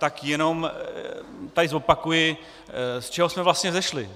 Tak jenom tady zopakuji, z čeho jsme vlastně vzešli.